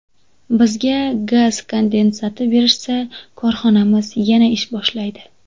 Bizga gaz kondensati berishsa, korxonamiz yana ish boshlaydi.